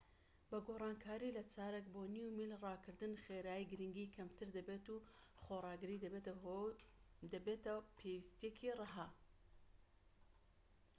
بە گۆڕانکاری لە چارەک بۆ نیو میل ڕاکردن خێرایی گرنگی کەمتر دەبێت و خۆڕاگری دەبێتە پێویستیەکی ڕەها